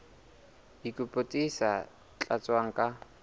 dikopo tse sa tlatswang ka